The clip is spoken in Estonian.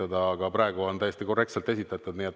Praegu on täiesti korrektselt esitatud.